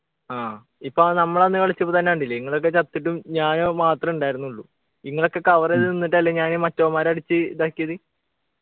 ആഹ് ഇപ്പൊ നമ്മളന്ന് കളിച്ചപ്പോ തന്നെ കണ്ടില്ലേ നിങ്ങള് ഒക്കെ ചത്തിട്ടും ഞാൻ മാത്രേ ഉണ്ടായിരുന്നുള്ളു നിങ്ങളക്കെ cover ചെയ്തു നിന്നിട്ട് അല്ലെ ഞാന് മറ്റവന്മാരെ അടിച്ച് ഇതാക്കിയത്